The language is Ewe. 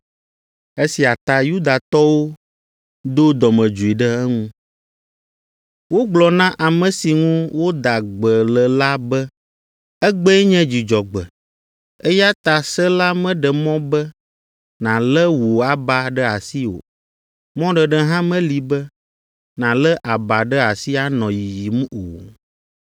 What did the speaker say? Esia ta, Yudatɔwo do dɔmedzoe ɖe eŋu. Wogblɔ na ame si ŋu woda gbe le la be, “Egbee nye Dzudzɔgbe, eya ta se la meɖe mɔ be nàlé wò aba ɖe asi o. Mɔɖeɖe hã meli be nàlé aba ɖe asi anɔ yiyim o!”